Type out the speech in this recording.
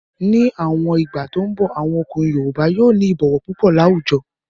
Ní àwọn ìgbà tó n bọ̀, àwọn ọkùnrin yoòbá yóò ní ìbọ̀wọ̀ púpọ̀ láwùjọ